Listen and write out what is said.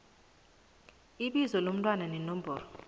ibizo lomntwana nenomboro